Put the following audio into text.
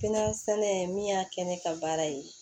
Kɛnɛya sɛnɛ min y'a kɛ ne ka baara ye